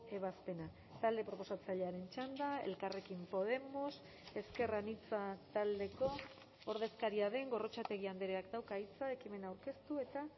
ebazpena talde proposatzailearen txanda elkarrekin podemos ezker anitza taldeko ordezkaria den gorrotxategi andreak dauka hitza ekimena aurkeztu eta